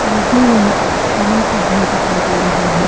मुझे यहां एक टीने का घर दिखाई दे रहा है।